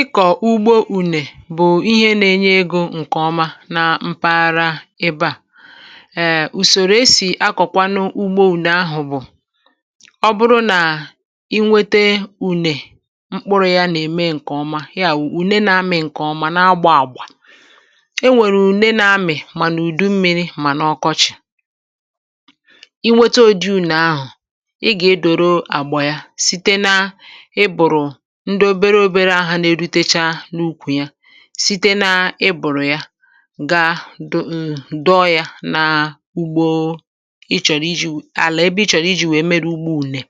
Ikọ̀ ugbo ùnè bụ̀ ihe nȧ-enye egȯ ǹkè ọma na mpaghara ebe à, um ùsòrò e sì akọ̀kwanụ ugbo ùnè ahụ̀ bụ̀, ọ bụrụ nà i nwete ùnè mkpụrụ̇ ya nà-ème ǹkè ọma ya wụ̀ ùne na-amị̇ ǹkè ọma na-agbà àgbà, e nwèrè ùne na-amị̀ mànà ùdu mmi̇ri̇ mànà ọkọchị̀. I nwete odi̇ ùnè ahụ̀ ị gà-edòro àgbà ya site na ịbụ̀rụ̀ ndị obere obere ahụ̇ nà-eru techa n’ukwù ya site na ịbụ̀rụ̀ ya gaa dụ um dọ yȧ na ugbȯ ị chọ̀rọ̀ iji̇ àlà ebe i chọ̀rọ̀ iji̇ nwèe mere ugbo ụ̀nè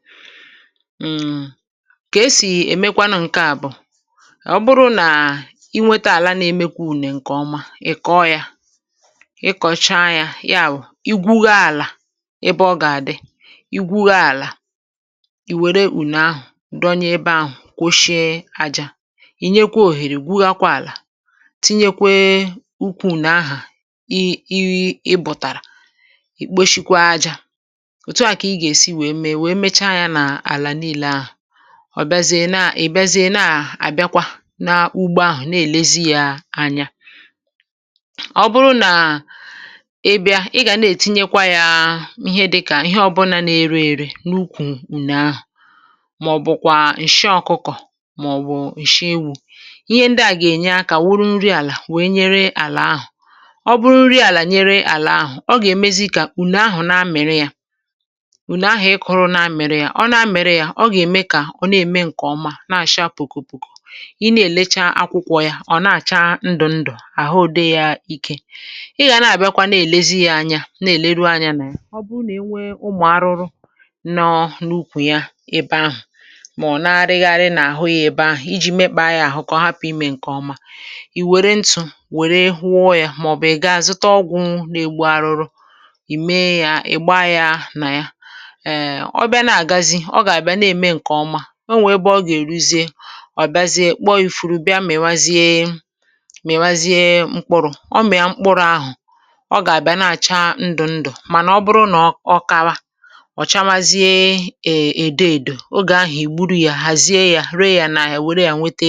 um kà e sì èmekwanụ ǹke à bụ̀ ọ bụrụ nà inwėtȧ àla na-emekwa ụ̀nè ǹkèọma ị̀ kọ yȧ ịkọ̀cha yȧ yawu, igwugha àlà ebe ọ gà-àdị igwugha àlà ì wère ụ̀nè ahụ̀ dọ nye ebe ahụ̀ kpochi aja, ì nyekwa òhèrè gwughakwa àlà tinyekwe ukwu̇ ụ̀nè ahụ̀ i i bụ̀tàrà ikpochikwa ajȧ òtù a kà ị gà-èsi wèe mee wèe mechaa yȧ n’àlà nii̇lė ahụ̀, ọ̀ bịazie na ị̀̀bịazie naà àbịakwa n’ugbo ahụ̀ na-èlezi ya anya. Ọ bụrụ nà ị bịa ị gà na-ètinyekwa yȧ ihe dịkà ihe ọbụ̇nȧ na-ere ere n’ukwù ùnè ahụ̀, ma ọ bụ kwa ǹsị ọ̀kụkọ̀ ma ọ bụ ǹsị ewu, ihe ndɪ à gà-ènye akȧ wuru nri àlà wee nyere àlà ahụ̀, ọ bụrụ nri àlà nyere àlà ahụ̀ ọ gà-èmezi kà ùne ahụ̀ na-amịrị yȧ, ùne ahụ̀ ị kụrụ na-amịrị yȧ ọ na-amịrị yȧ ọ gà-ème kà ọ̀ na-ème ǹkè ọma na-àcha pụ̀kụ̀ pụ̀kụ̀, ị na-èlecha akwụkwọ ya ọ̀ na-àcha ndụ̀ ndụ̀ àhụ di yȧ ike ị gà na-àbịakwa na-èlezi yȧ anya na-èleru anya nà ya, ọ bụrụ nà e nwee ụmụ̀ arụrụ nọọ̀ n’ukwù ya ebe ahụ̀ ma n’arighari na ahù ya ebe ahù, iji̇ mekpà ya ahụ̀ kà ọ hapụ̀ imė ǹkèọma ì wère ntụ̀ wère wụọ ya màọ̀bụ̀ ì ga-zụtọ ọgwụ̇ na-egbu arụrụ ì mee ya ì gbaa ya nà ya um ọ bịa nà-àgazi ọ gà-àbịa nà-ème ǹkèọma o nwè ebe ọ gà-èruzie ọ̀biaziė kpọ ifu̇rụ̇ bịa mị̀wazie mị̀wazie mkpụrụ̇, ọ mị̀a mkpụrụ̇ ahụ̀ ọ gà-àbịa nà-àcha ndụ̀ ndụ̀ mànà ọ bụrụ nà ọ kawa ọ̀ chawazie um èdo èdò o gà-ahụ̀ ègburu ya hàzie ya ree ya n’ahia were ya nwete